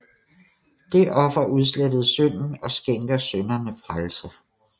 Det offer udslettede synden og skænker synderne frelse